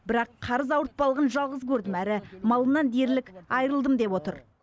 бірақ қарыз ауыртпалығын жалғыз көрдім әрі малымнан дерлік айрылдым деп отыр